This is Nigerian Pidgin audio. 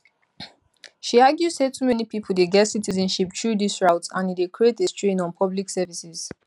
she argue say too many pipo dey get citizenship through dis route and e dey create a strain on public services